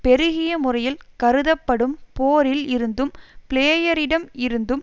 பெருகிய முறையில் கருதப்படும் போரில் இருந்தும் பிளேயரிடம் இருந்தும்